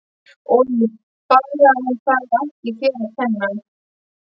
Oj bara en það er ekki þér að kenna